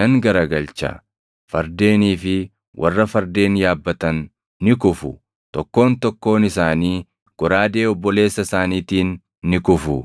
nan garagalcha; fardeenii fi warra fardeen yaabbatan ni kufu; tokkoon tokkoon isaanii goraadee obboleessa isaaniitiin ni kufu.